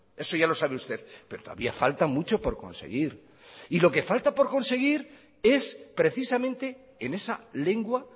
eso ya lo sabe usted pero todavía falta mucho por conseguir y lo que falta por conseguir es precisamente en esa lengua